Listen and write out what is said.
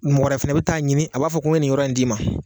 Mɔgɔ wɛrɛ fɛnɛ be taa'a ɲini a b'a fɔ ko me nin yɔrɔ in d'i ma